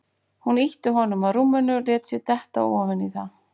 Hún ýtti honum að rúminu og lét sig detta ofan í það.